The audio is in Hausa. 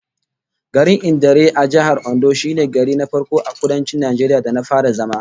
Garin Idanre a Jihar Ondo shine gari na farko a Kudancin Najeriya da na fara zama